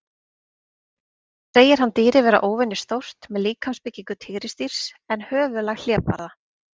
Segir hann dýrið vera óvenju stórt, með líkamsbyggingu tígrisdýrs en höfuðlag hlébarða.